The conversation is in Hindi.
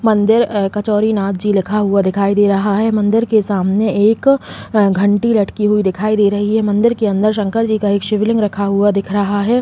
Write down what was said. मंदिर अ कचोरी नाथ जी लिखा हुआ दिखाई दे रहा है। मंदिर के सामने एक अ घंटी लटकी दिखाई दे रही है। मंदिर के अंदर शंकर जी का एक शिवलिंग रखा हुआ दिख रहा है।